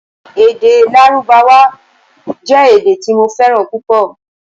Èdè Lárúbáwá jẹ́ èdè tí mo fẹ́ràn púpọ̀